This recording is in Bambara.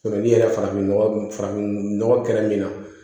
ni yɛrɛ farafinnɔgɔ farafin nɔgɔ kɛra min na